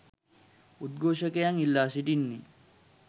උද්ඝෝෂකයන් ඉල්ලා සිටින්නේ.